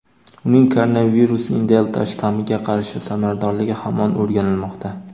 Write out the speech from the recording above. uning koronavirusning "delta" shtammiga qarshi samaradorligi hamon o‘rganilmoqda.